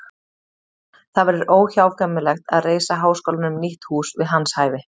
Það verður óhjákvæmilegt að reisa háskólanum nýtt hús við hans hæfi.